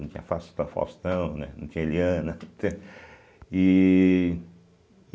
Não tinha Fasta Faustão, né, não tinha Eliana, ih.